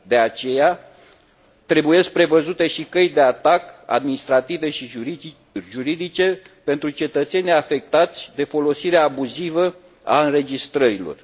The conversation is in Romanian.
De aceea, trebuie prevăzute și căi de atac administrative și juridice pentru cetățenii afectați de folosirea abuzivă a înregistrărilor.